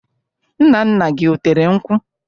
Nna nna gị, o tere nkwụ?